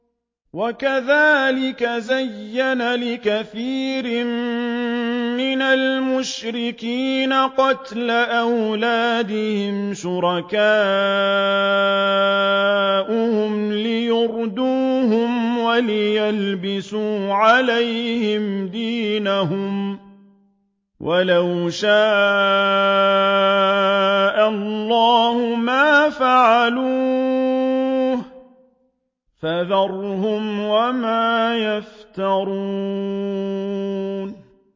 وَكَذَٰلِكَ زَيَّنَ لِكَثِيرٍ مِّنَ الْمُشْرِكِينَ قَتْلَ أَوْلَادِهِمْ شُرَكَاؤُهُمْ لِيُرْدُوهُمْ وَلِيَلْبِسُوا عَلَيْهِمْ دِينَهُمْ ۖ وَلَوْ شَاءَ اللَّهُ مَا فَعَلُوهُ ۖ فَذَرْهُمْ وَمَا يَفْتَرُونَ